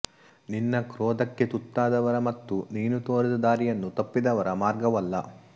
ನಿನ್ನ ಕ್ರೋಧಕ್ಕೆ ತುತ್ತಾದವರ ಮತ್ತು ನೀನು ತೋರಿದ ದಾರಿಯನ್ನು ತಪ್ಪಿದವರ ಮಾರ್ಗವಲ್ಲ